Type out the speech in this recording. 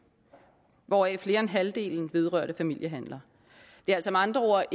hvoraf mere end halvdelen vedrørte familiehandler det er altså med andre ord